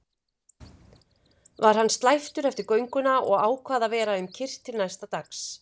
Var hann slæptur eftir gönguna og ákvað að vera um kyrrt til næsta dags.